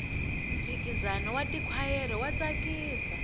mphikizano wa tikhwayere wa tsakisa